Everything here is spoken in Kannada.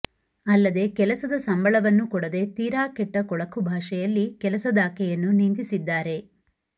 ಅಲ್ಲದೆ ಕೆಲಸದ ಸಂಬಳವನ್ನು ಕೊಡದೇ ತೀರಾ ಕೆಟ್ಟ ಕೊಳಕು ಭಾಷೆಯಲ್ಲಿ ಕೆಲಸದಾಕೆಯನ್ನು ನಿಂದಿಸಿದ್ದಾರೆ